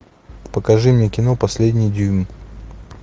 покажи мне кино последний дюйм